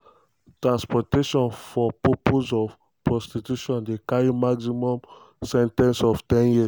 transportation for purposes of prostitution dey carry maximum sen ten ce of ten years.